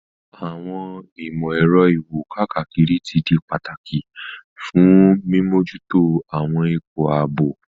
Àwọn ìmò-èro iwo-kakiri ti di pataki fun mimojuto àwọn ipo aabo.